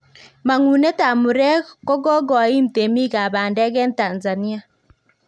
Mangunet ab murek ko kokoim temiik ab pandeek en Tanzania